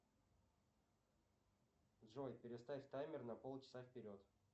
джой переставь таймер на полчаса вперед